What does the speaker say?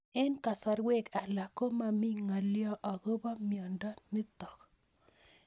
Eng'kasarwek alak ko mami ng'alyo akopo miondo notok